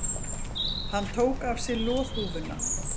Hann tók af sér loðhúfuna.